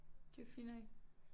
De var fine nok?